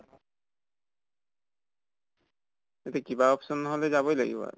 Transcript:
যদি কিবা option নহলে যাবই লাগিব আৰু।